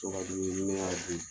ni ne y'a dun.